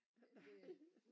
Men det er